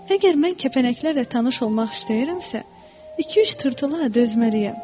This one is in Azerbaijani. Əgər mən kəpənəklərlə tanış olmaq istəyirəmsə, iki-üç tırtıla dözməliyəm.